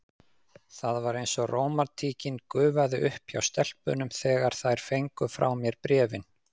Það var eins og rómantíkin gufaði upp hjá stelpunum, þegar þær fengu frá mér bréfin.